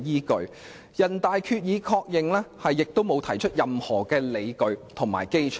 再者，人大常委會的《決定》亦沒有提出任何理據和基礎。